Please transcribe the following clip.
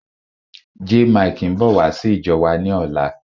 Jaymikee ń bọ̀ wá sí ìjọ wa ni ọ̀la.